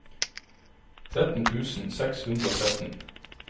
tretten tusen seks hundre og tretten